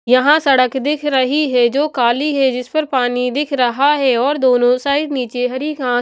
यहां सड़क दिख रही है जो काली हैजिस पर पानी दिख रहा हैऔर दोनों साइड नीचे हरी घास--